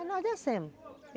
Aí nós descemos.